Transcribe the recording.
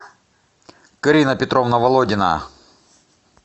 карина петровна володина